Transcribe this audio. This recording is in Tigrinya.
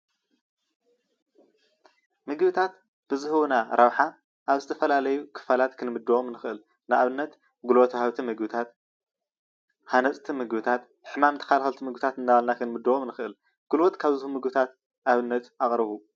ምግብታት ብዝህቡና ረብሓ ኣብ ዝተፈላለዩ ክፋላት ክንምድቦም ንክእል ።ንኣብነት ጉልበት ውሃብቲ ምግብታት፣ ሃነፅቲ ምግብታት፣ ሕማም ተከላከልቲ ምግብታት እናበልና ክንምድቦም ንክእል። ጉልበት ካብ ዝህቡ ምግብታት ኣብነት ኣቅርቡ?